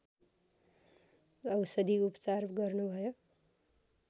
औषधिउपचार गर्नुभयो